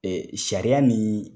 sariya ni